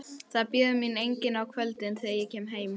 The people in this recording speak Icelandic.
Það bíður mín enginn á kvöldin, þegar ég kem heim.